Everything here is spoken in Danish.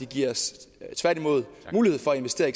giver os mulighed for at investere